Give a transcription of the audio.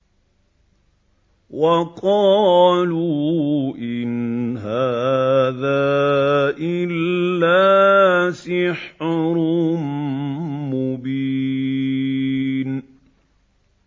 وَقَالُوا إِنْ هَٰذَا إِلَّا سِحْرٌ مُّبِينٌ